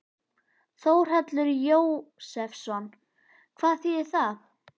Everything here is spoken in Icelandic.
Þórhallur Jósefsson: Hvað þýðir það?